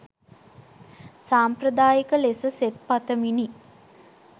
සාම්ප්‍රදායික ලෙස සෙත් පතමිනි